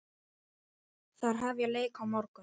Þær hefja leik á morgun.